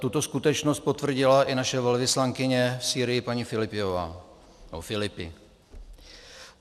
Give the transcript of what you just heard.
Tuto skutečnost potvrdila i naše velvyslankyně v Sýrii paní Filipi.